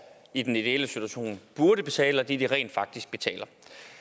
i den ideelle situation burde betale og det de rent faktisk betaler